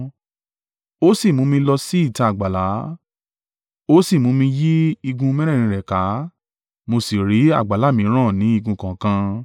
Ó sì mú mi lọ sí ìta àgbàlá, ó sì mú mi yí igun mẹ́rẹ̀ẹ̀rin rẹ̀ ká, mo sì ri àgbàlá mìíràn ní igun kọ̀ọ̀kan.